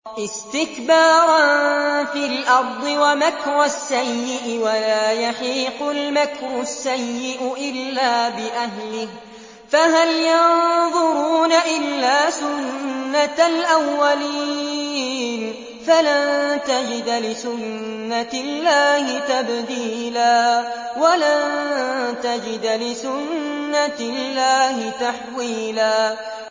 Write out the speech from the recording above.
اسْتِكْبَارًا فِي الْأَرْضِ وَمَكْرَ السَّيِّئِ ۚ وَلَا يَحِيقُ الْمَكْرُ السَّيِّئُ إِلَّا بِأَهْلِهِ ۚ فَهَلْ يَنظُرُونَ إِلَّا سُنَّتَ الْأَوَّلِينَ ۚ فَلَن تَجِدَ لِسُنَّتِ اللَّهِ تَبْدِيلًا ۖ وَلَن تَجِدَ لِسُنَّتِ اللَّهِ تَحْوِيلًا